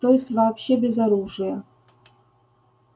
то есть вообще без оружия